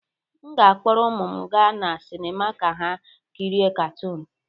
M ga-akpọrọ ụmụ m gaa na sinima ka ha kirie katoon.